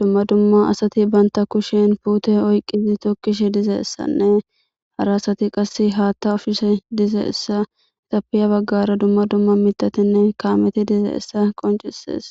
dumma dumma asati banta kushen puute oyqqii tokkishe diza issanne harasati qas haatta ufise diza issa xapiya baggara dumma dumma mitatinne kaameti diza issa qoncises